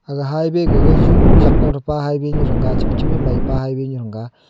aga highway gaga jung jat ko thepe highway nu thang ga chebi chebi mei pe highway thang ga.